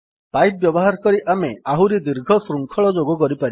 pipe ବ୍ୟବହାର କରି ଆମେ ଆହୁରି ଦୀର୍ଘ ଶୃଙ୍ଖଳ ଯୋଗ କରିପାରିବା